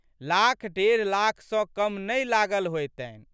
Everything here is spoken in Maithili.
लाखडेढ़ लाख सँ कम नहि लागल होएतनि।